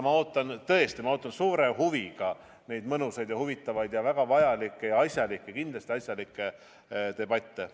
Ma tõesti ootan suure huviga tulevasi mõnusaid ja huvitavaid ning väga vajalikke ja kindlasti asjalikke debatte.